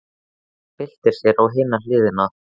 Hún byltir sér á hina hliðina.